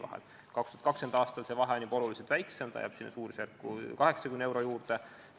2020. aastal on see vahe juba oluliselt väiksem, ta jääb sinna 80 euro suurusjärku.